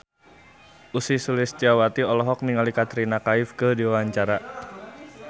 Ussy Sulistyawati olohok ningali Katrina Kaif keur diwawancara